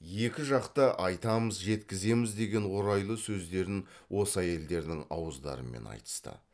екі жақ та айтамыз жеткіземіз деген орайлы сөздерін осы әйелдердің ауыздарымен айтысты